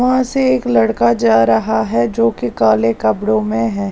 वहां से एक लड़का जा रहा हैजो कि काले कपड़ों में है।